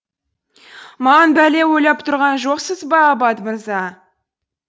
маған бәле ойлап тұрған жоқсыз ба аббат мырза